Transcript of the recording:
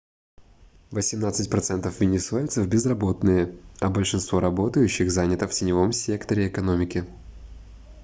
восемнадцать процентов венесуэльцев безработные а большинство работающих занято в теневом секторе экономики